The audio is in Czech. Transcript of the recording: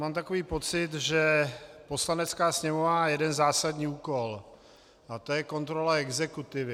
Mám takový pocit, že Poslanecká sněmovna má jeden zásadní úkol a to je kontrola exekutivy.